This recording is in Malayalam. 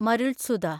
മരുത്സുധ